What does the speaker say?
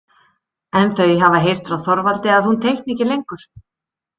En þau hafa heyrt frá Þorvaldi að hún teikni ekki lengur.